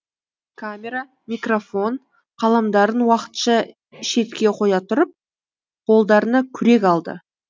камера микрофон қаламдарын уақытша шетке қоя тұрып қолдарына күрек алды